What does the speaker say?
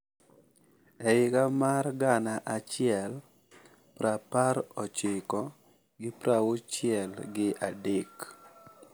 E higa mar gana achiel prapar ochiko gi prauchiel gi adek.